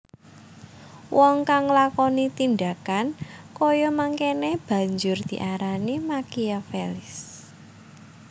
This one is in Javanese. Wong kang nglakoni tindhakan kaya mangkéné banjur diarani Makiavelis